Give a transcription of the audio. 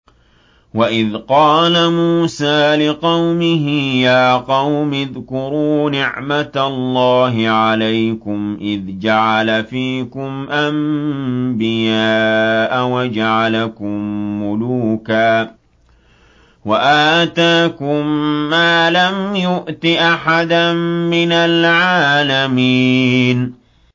وَإِذْ قَالَ مُوسَىٰ لِقَوْمِهِ يَا قَوْمِ اذْكُرُوا نِعْمَةَ اللَّهِ عَلَيْكُمْ إِذْ جَعَلَ فِيكُمْ أَنبِيَاءَ وَجَعَلَكُم مُّلُوكًا وَآتَاكُم مَّا لَمْ يُؤْتِ أَحَدًا مِّنَ الْعَالَمِينَ